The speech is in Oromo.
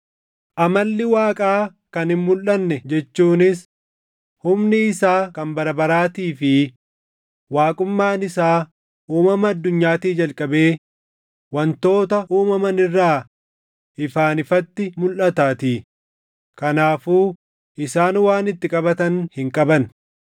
Amalli Waaqaa kan hin mulʼanne jechuunis humni isaa kan bara baraatii fi waaqummaan isaa uumama addunyaatii jalqabee wantoota uumaman irraa ifaan ifatti mulʼataatii; kanaafuu isaan waan itti qabatan hin qaban.